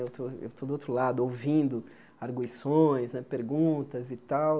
Eu estou eu estou do outro lado, ouvindo arguições né, perguntas e tal.